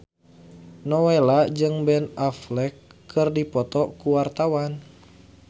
Nowela jeung Ben Affleck keur dipoto ku wartawan